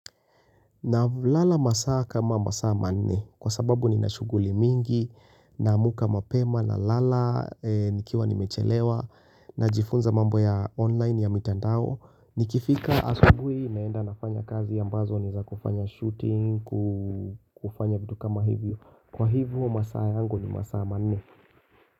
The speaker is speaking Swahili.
Navolala masaa kama masaa manne kwa sababu nina shuguli mingi naamuka mapema nalala nikiwa nimechelewa najifunza mambo ya online ya mitandao Nikifika asubui naenda nafanya kazi ambazo ni za kufanya shooting kufanya vitu kama hivyo kwa hivo masaa yangu ni masaa manne.